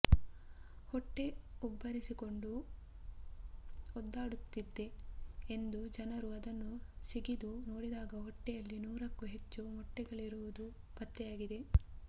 ಹೊಟ್ಟೆ ಉಬ್ಬರಿಸಿಕೊಂಡು ಒದ್ದಾಡುತ್ತಿದೆ ಎಂದು ಜನರು ಅದನ್ನು ಸಿಗಿದು ನೋಡಿದಾಗ ಹೊಟ್ಟೆಯಲ್ಲಿ ನೂರಕ್ಕೂ ಹೆಚ್ಚು ಮೊಟ್ಟೆಗಳಿರುವುದು ಪತ್ತೆಯಾಗಿದೆ